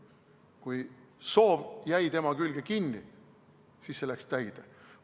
Kui soov jäi selle külge kinni, siis läks soov täide.